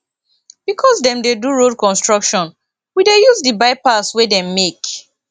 because dem dey do road construction we dey use di bypass wey dem make